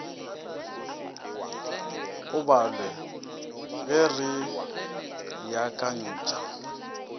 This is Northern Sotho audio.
o balwe ge re beakantšha